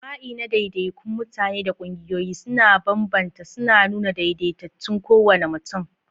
Jima'i na daidaikun mutane da ƙungiyoyi sun bambanta, suna nuna daidaitattun kowane mutum.